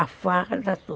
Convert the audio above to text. A faca, tudo.